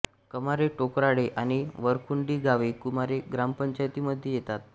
कमारे टोकराळे आणि वरखुंटी गावे कमारे ग्रामपंचायतीमध्ये येतात